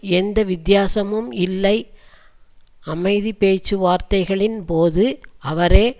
எந்த வித்தியாசமும் இல்லை அமைதி பேச்சுவார்த்தைகளின் போது அவரே